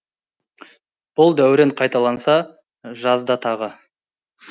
бұл дәурен қайталанса жазда тағы